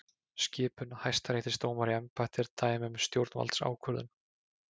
Skipun hæstaréttardómara í embætti er dæmi um stjórnvaldsákvörðun.